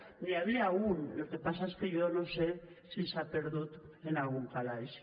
n’hi havia un el que passa és que jo no sé si s’ha perdut en algun calaix